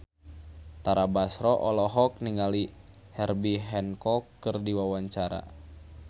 Tara Basro olohok ningali Herbie Hancock keur diwawancara